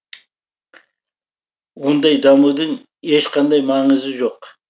ондай дамудың ешқандай маңызы жоқ